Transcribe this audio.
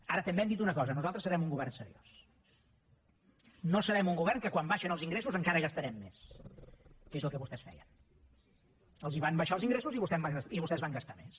ara també hem dit una cosa nosaltres serem un govern seriós no serem un govern que quan baixen els ingressos encara gastarem més que és el que vostès feien els van baixar els ingressos i vostès van gastar més